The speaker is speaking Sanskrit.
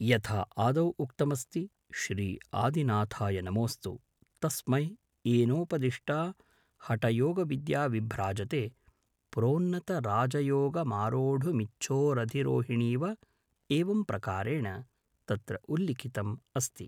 यथा आदौ उक्तमस्ति श्री आदिनाथाय नमोस्तु तस्मै येनोपदिष्टा हठयोगविद्या विभ्राजते प्रोन्नतराजयोगमारोढुमिच्छोरधिरोहिणीव एवं प्रकारेण तत्र उल्लिखितम् अस्ति